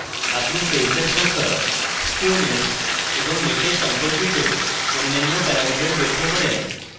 আপনি সেলসের সংখ্যা skewness এবং মেশের সম্পর্কিত অন্যান্য প্যারামিটার দেখতে পারেন